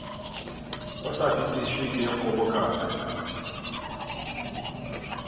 o sa fetišwe ke kgobokano